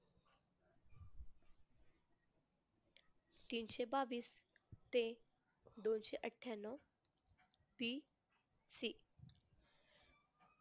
तीनशे बावीस ते दोनशे अठ्ठयानऊ PC